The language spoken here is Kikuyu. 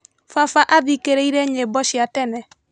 Baba athikĩrĩirie nyĩmbo cia tene.